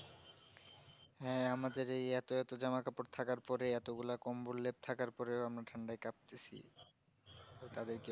হ্যাঁ আমাদের এই এতো এতো জামা কাপড় থাকার পরে এতো গুলা কম্বল লেপ থাকার পরেও আমরা ঠান্ডায় কাঁপতেছি তো তাদের কি